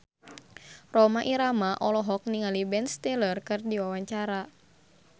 Rhoma Irama olohok ningali Ben Stiller keur diwawancara